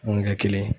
Mun ɲɛ kelen